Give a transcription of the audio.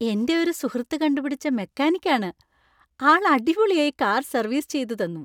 എൻ്റെ ഒരു സുഹൃത്ത് കണ്ടുപിടിച്ച മെക്കാനിക്ക് ആണ്. ആൾ അടിപൊളിയായി കാർ സർവീസ് ചെയ്ത് തന്നു.